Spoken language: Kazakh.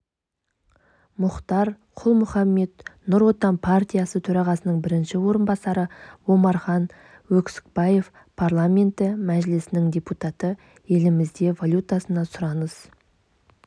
мұхтар құл-мұхаммед нұр отан партиясы төрағасының бірінші орынбасары омархан өксікбаев парламенті мәжілісінің депутаты елімізде валютасына сұраныс